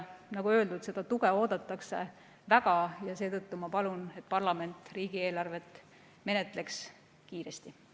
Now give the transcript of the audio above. Nagu öeldud, seda tuge oodatakse väga ja seetõttu ma palun, et parlament menetleks riigieelarvet kiiresti.